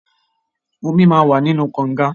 Omi máa wà nínú kọǹga.